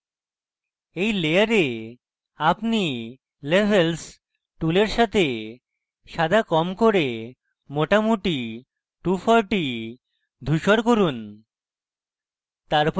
in layer আপনি levels টুলের সাথে সাদা কম করে মোটামুটি 240 ধুসর করুন